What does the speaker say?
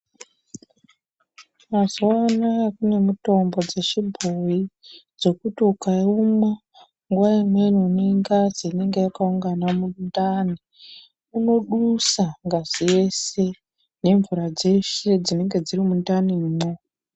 Mazuwa anaya kune mitombo dzechibhoyi dzekuti ukaimwa nguwa imweni unenga une ngazi inenga yakaungana mundani inodusa ngazi yeshe nemvura dzese dzinenga dziri mundanimwo.